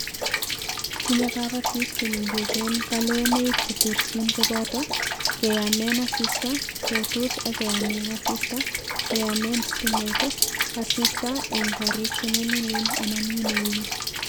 tinyei kabatik che mengeechen kalewenoik che terchin koboto: keyaamen asista, ketuch ak keyaamen asista, keyaamen sitimet, asista eng' korik che nyalilen anan winowing